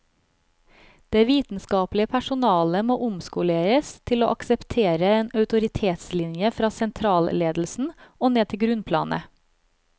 Det vitenskapelige personalet må omskoleres til å akseptere en autoritetslinje fra sentralledelsen og ned til grunnplanet.